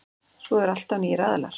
Svo er alltaf nýir aðilar.